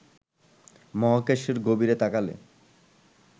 মহাকাশের গভীরে তাকালে